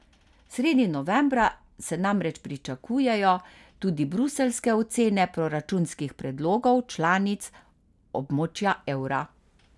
Sredi novembra se namreč pričakujejo tudi bruseljske ocene proračunskih predlogov članic območja evra.